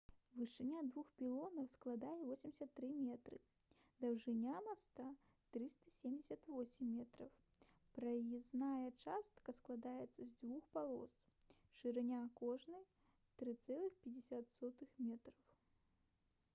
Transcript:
вышыня двух пілонаў складае 83 метры даўжыня моста - 378 метраў праезная частка складаецца з дзвюх палос шырыня кожнай - 3,50 м